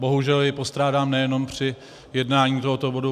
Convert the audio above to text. Bohužel jej postrádám nejenom při jednání o tomto bodu.